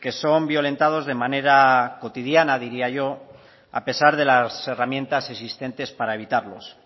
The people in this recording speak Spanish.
que son violentados de manera cotidiana diría yo a pesar de las herramientas existentes para evitarlos